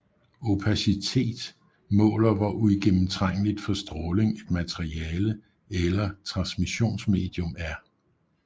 Opacitet måler hvor uigennemtrængeligt for stråling et materiale eller transmissionsmedium er